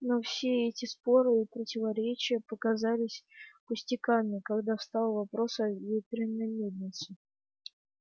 но все эти споры и противоречия показались пустяками когда встал вопрос о ветряной мельнице